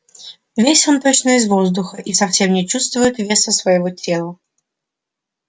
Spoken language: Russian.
весь он точно из воздуха и совсем не чувствует веса своего тела